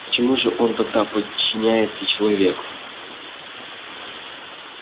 почему же он тогда подчиняется человеку